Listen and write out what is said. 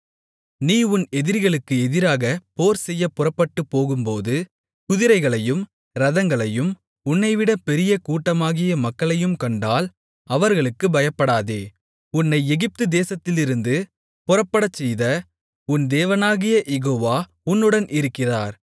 நீ உன் எதிரிகளுக்கு எதிராக போர்செய்யப் புறப்பட்டுப்போகும்போது குதிரைகளையும் இரதங்களையும் உன்னைவிட பெரிய கூட்டமாகிய மக்களையும் கண்டால் அவர்களுக்குப் பயப்படாதே உன்னை எகிப்து தேசத்திலிருந்து புறப்படச்செய்த உன் தேவனாகிய யெகோவா உன்னுடன் இருக்கிறார்